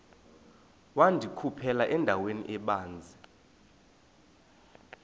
wandikhuphela endaweni ebanzi